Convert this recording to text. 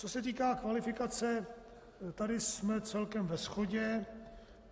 Co se týká kvalifikace, tady jsme celkem ve shodě.